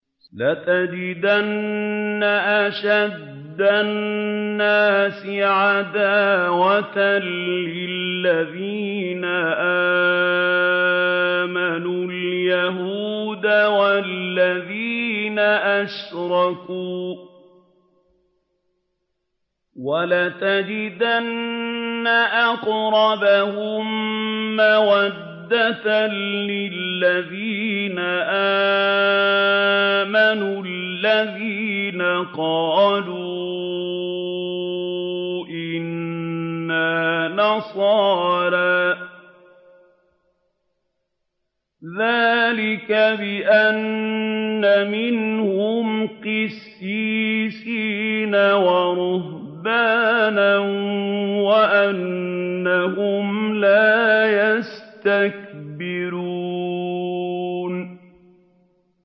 ۞ لَتَجِدَنَّ أَشَدَّ النَّاسِ عَدَاوَةً لِّلَّذِينَ آمَنُوا الْيَهُودَ وَالَّذِينَ أَشْرَكُوا ۖ وَلَتَجِدَنَّ أَقْرَبَهُم مَّوَدَّةً لِّلَّذِينَ آمَنُوا الَّذِينَ قَالُوا إِنَّا نَصَارَىٰ ۚ ذَٰلِكَ بِأَنَّ مِنْهُمْ قِسِّيسِينَ وَرُهْبَانًا وَأَنَّهُمْ لَا يَسْتَكْبِرُونَ